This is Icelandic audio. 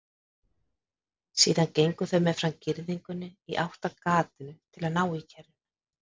Síðan gengu þau meðfram girðingunni í áttina að gatinu til að ná í kerruna.